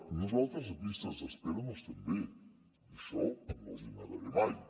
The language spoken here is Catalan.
nosaltres de llistes d’espera no estem bé i això no els hi negaré mai